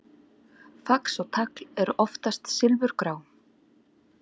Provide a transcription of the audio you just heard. Fax og tagl eru oftast silfurgrá.